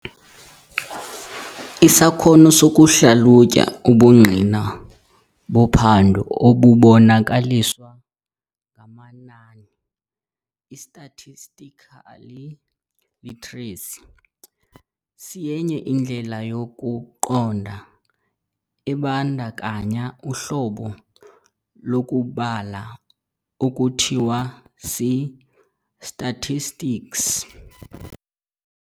Isakhono sokuhlalutya ubungqina bophando obubonakaliswa ngamanani, I-statistical literacy, siyenye indlela yokuqonda ebandakanya uhlobo lokubala ekuthiwa si-statistics.